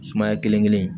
Sumaya kelen kelen in